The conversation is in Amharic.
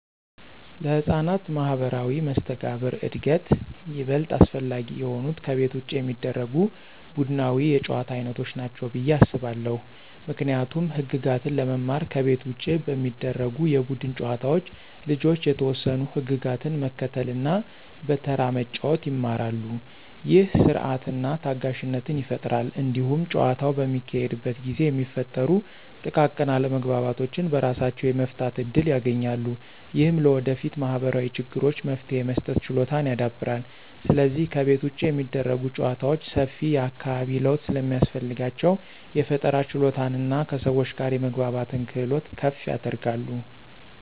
ለሕፃናት ማኅበራዊ መስተጋብር እድገት ይበልጥ አስፈላጊ የሆኑት ከቤት ውጭ የሚደረጉ ቡድናዊ የጨዋታ ዓይነቶች ናቸው ብዬ አስባለሁ። ምክንያቱም ህግጋትን ለመማር ከቤት ውጭ በሚደረጉ የቡድን ጨዋታዎች ልጆች የተወሰኑ ህግጋትን መከተልና በተራ መጫወት ይማራሉ። ይህ ሥርዓትንና ታጋሽነትን ይፈጥራል። እንዲሁም ጨዋታው በሚካሄድበት ጊዜ የሚፈጠሩ ጥቃቅን አለመግባባቶችን በራሳቸው የመፍታት እድል ያገኛሉ። ይህም ለወደፊት ማኅበራዊ ችግሮች መፍትሄ የመስጠት ችሎታን ያዳብራል። ስለዚህ ከቤት ውጭ የሚደረጉ ጨዋታዎች ሰፊ የአካባቢ ለውጥ ስለሚያስፈልጋቸው፣ የፈጠራ ችሎታንና ከሰዎች ጋር የመግባባትን ክህሎት ከፍ ያደርጋሉ።